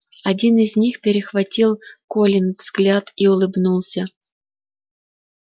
один из них перехватил колин взгляд и улыбнулся